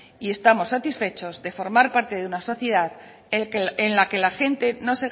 y estamos satisfechos de forma parte de una sociedad a la que